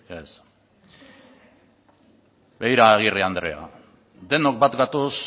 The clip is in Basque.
yes begira agirre andrea denok bat gatoz